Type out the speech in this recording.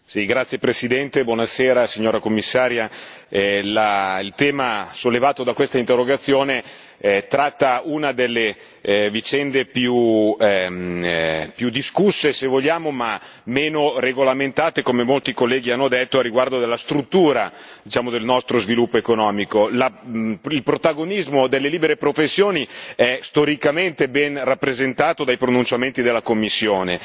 Signor Presidente, onorevoli colleghi, signora Commissaria, il tema sollevato da quest'interrogazione tratta una delle vicende più discusse, se vogliamo, ma meno regolamentate, come molti colleghi hanno detto riguardo alla struttura del nostro sviluppo economico. Il protagonismo delle libere professioni è storicamente ben rappresentato dai pronunciamenti della Commissione